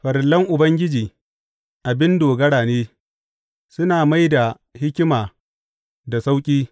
Farillan Ubangiji abin dogara ne, suna mai da hikima da sauƙi.